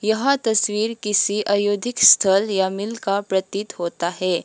यह तस्वीर किसी आयोधिक स्थल या मिल का प्रतीत होता है।